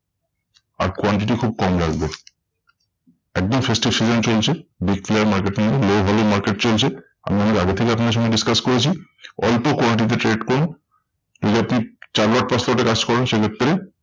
আর quantity খুব কম রাখবেন। একদম festive season চলছে। declare market কিন্তু low volume market চলছে। আমি অনেক আগে থেকে আপনাদের সঙ্গে discuss করেছি অল্প quantity trade করুন। নইলে আপনি চার lot পাঁচ lot এ কাজ করেন সেই ক্ষেত্রে।